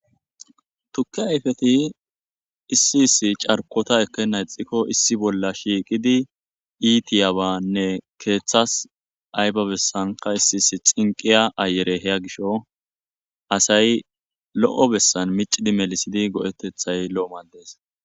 Tukki ayfeti issi issi carkota ekennayxikko issi bolla shiiqidi iitiyabanne keeththas ayba bessanka issi issi xinqiya ayere heya gisho asay lo7o bessan micidi melisidi go7etethay lo7o madees.